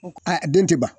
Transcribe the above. A den tɛ ban